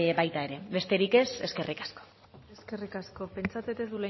baita ere besterik ez eskerrik asko eskerrik asko pentsatzen ez